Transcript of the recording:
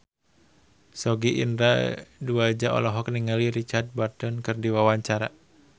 Sogi Indra Duaja olohok ningali Richard Burton keur diwawancara